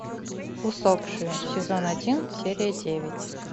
усопшие сезон один серия девять